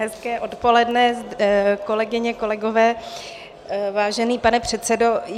Hezké odpoledne, kolegyně, kolegové, vážený pane předsedo.